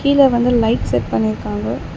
இதுல வந்து light set பண்ணிருக்காங்க.